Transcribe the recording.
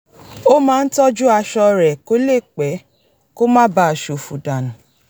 ó máa ń tọ́jú aṣọ rẹ̀ kó lè pẹ́ kó má bàa s̩òfò dànù